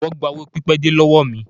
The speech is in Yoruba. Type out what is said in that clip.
Wón gba owó pipede lọ́wọ́ mi.